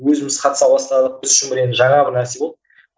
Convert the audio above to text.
өзіміз қатыса бастадық біз үшін бір енді жаңа бір нәрсе болды